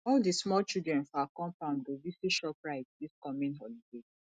all di small children for our compound go visit shoprite dis coming holiday